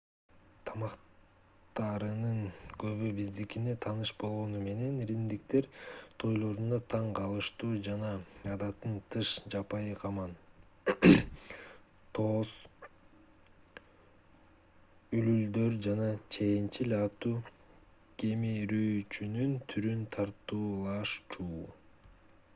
тамактарынын көбү биздикине тааныш болгону менен римдиктер тойлорунда таң калыштуу жана адаттан тыш жапайы каман тоос үлүлдөр жана чеенчил аттуу кемирүүчүнүн түрүн тартуулашчу